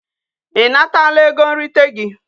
I natala ego nrite gi?